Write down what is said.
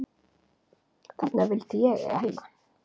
Þarna vildi ég eiga heima.